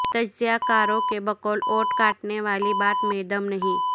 تجزیہ کاروں کے بقول ووٹ کاٹنے والی بات میں دم نہیں